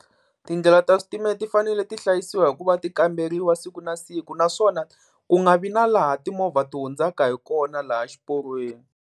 Tindlela ta switimela ti fanele ti hlayisiwa hi ku va ti kamberiwa siku na siku, naswona ku nga vi na laha timovha ti hundzaka hi kona laha xiporweni.